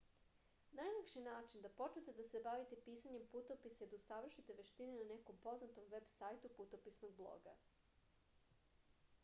najlakši način da počnete da se bavite pisanjem putopisa je da usavršite veštine na nekom poznatom veb sajtu putopisnog bloga